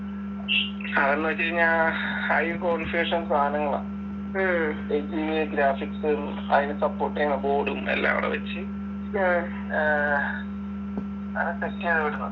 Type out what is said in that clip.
അത്ന്ന് വെച്ചഴിഞ്ഞാ high configuration സാധനങ്ങളാ graphics അയിന് support എയ്യുന്ന board ഉം എല്ലാം അവിടെ വെച്ച് ആഹ് അങ്ങനെ set എയാണിവിടുന്ന്